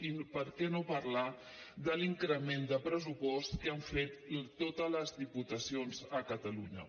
i per què no parlar de l’increment de pressupost que han fet totes les diputacions a catalunya